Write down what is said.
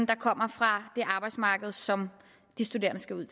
kommer fra det arbejdsmarked som de studerende skal ud